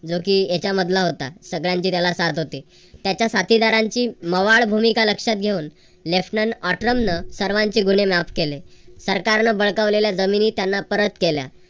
जो कि याच्या मधला होता. सगळ्यांचे त्याला साथ होती. त्याच्या साथीदारांची मवाळ भूमिका लक्षात घेऊन सर्वांचे गुन्हे माफ केले. सरकारन बळकावलेल्या जमिनी त्यांना परत केल्या.